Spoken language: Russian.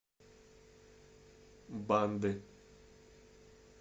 банды